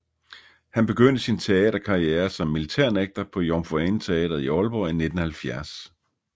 Han begyndte sin teaterkarrière som militærnægter på Jomfru Ane Teatret i Aalborg i 1970